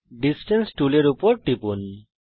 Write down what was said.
distance টুলের উপর টিপুন